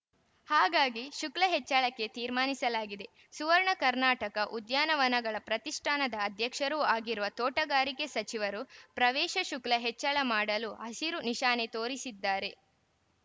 ಹಾಗಾಗಿ ಶುಕ್ಲ ಹೆಚ್ಚಳಕ್ಕೆ ತೀರ್ಮಾನಿಸಲಾಗಿದೆ ಸುವರ್ಣ ಕರ್ನಾಟಕ ಉದ್ಯಾನವನಗಳ ಪ್ರತಿಷ್ಠಾನದ ಅಧ್ಯಕ್ಷರೂ ಆಗಿರುವ ತೋಟಗಾರಿಕೆ ಸಚಿವರು ಪ್ರವೇಶ ಶುಕ್ಲ ಹೆಚ್ಚಳ ಮಾಡಲು ಹಸಿರು ನಿಶಾನೆ ತೋರಿಸಿದ್ದಾರೆ